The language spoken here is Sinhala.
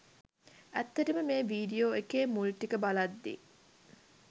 ඇත්තට මේ වීඩියෝ එකේ මුල් ටික බලද්දී